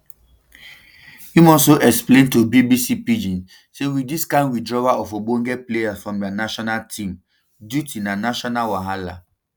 im also explain to bbc pidgin say wit dis kind withdrawal of ogbonge players from dia national team duty na global wahala